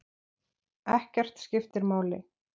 Ekkert skiptir máli.